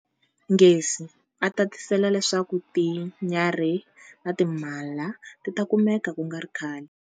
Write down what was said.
Ngesi, a tatisela leswaku tinyarhi na timhala ti ta kumeka ku nga ri khale.